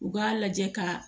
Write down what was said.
U k'a lajɛ ka